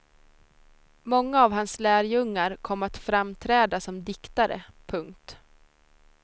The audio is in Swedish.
Många av hans lärjungar kom att framträda som diktare. punkt